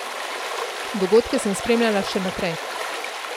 Dogodke sem spremljala še naprej.